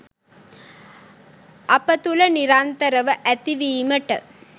අප තුළ නිරන්තරව ඇතිවීමට